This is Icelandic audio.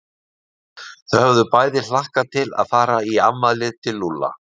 Þau höfðu bæði hlakkað til að fara í afmælið til Lúlla.